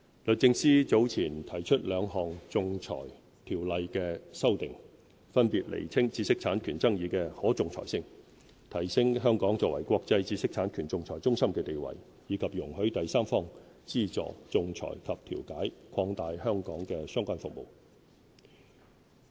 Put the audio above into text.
律政司早前提出兩項《仲裁條例》的修訂，分別釐清知識產權爭議的可仲裁性，提升香港作為國際知識產權仲裁中心的地位；以及容許第三方資助仲裁及調解，擴大香港的相關服務。